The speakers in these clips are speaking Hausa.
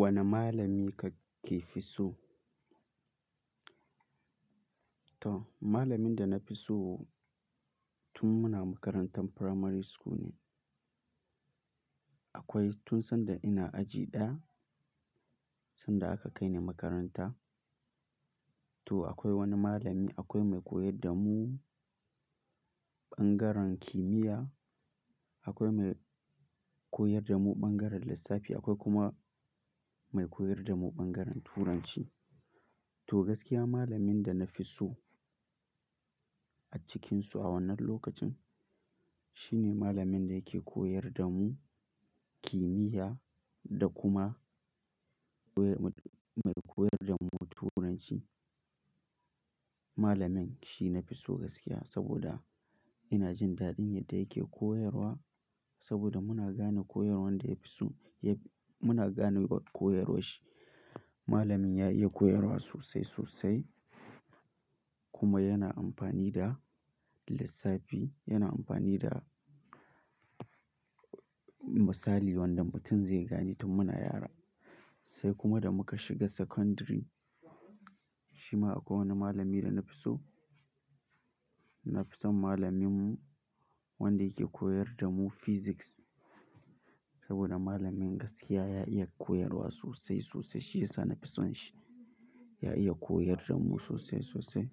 Wane malami kake fi so? To malamin da na fi so tun muna makarantar primary school ne. Akwai tun sanda ina aji ɗaya, sanda aka kai ni makaranta. To akwai wani malami, akwai mai koyar da mu ɓangaren kimiyya, akwai mai koyar da mu ɓangaren lissafi, akwai kuma mai koyar da mu ɓangaren turanci. To gaskiya malamin da na fi so a cikinsu a wannan lokacin shi ne malamin da yake koyar da mu kimiyya da kuma mai koyar da mu turanci. Malamin shi na fi so gaskiya saboda ina jin daɗin yadda yake koyarwa saboda muna gane koyarwan da ya fi so, muna gane wa koyarwar shi. Malamin ya iya koyarwa sosai sosai kuma yana amfani da lissafi, yana amfani da misali wanda mutum zai gane tun muna yara. Sai kuma da muka shiga secondary, shi ma akwai wani malami da na fi so. Na fi son malaminmu wanda yake koyar da mu physics saboda malamin gaskiya ya iya koyarwa sosai sosai. Shi ya sa na fi son shi. Ya iya koyar da mu sosai sosai.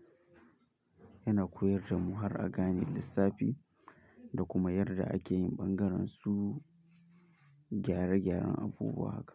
Yana koyar da mu har a gane lissafi da kuma yadda ake yin ɓangaren su gyare gyaren abubuwa haka.